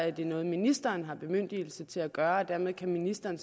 er det noget ministeren har bemyndigelse til at gøre og dermed kan ministeren